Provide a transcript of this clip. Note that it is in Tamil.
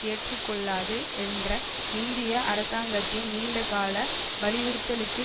ஏற்று கொள்ளாது என்ற இந்திய அரசாங்கத்தின் நீண்ட கால வலியுறுத்தலுக்கு